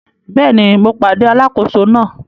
Bẹ́ẹ̀ni, mo pàdé alákòóso náà.